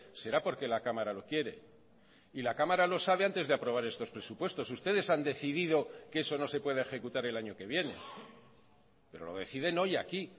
será porque la cámara lo quiere y la cámara lo sabe antes de aprobar estos presupuestos ustedes han decidido que eso no se pueda ejecutar el año que viene pero lo deciden hoy aquí